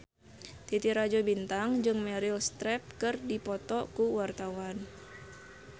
Titi Rajo Bintang jeung Meryl Streep keur dipoto ku wartawan